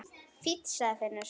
Fínn, sagði Finnur.